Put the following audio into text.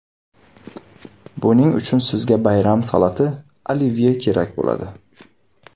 Buning uchun sizga bayram salati – olivye kerak bo‘ladi.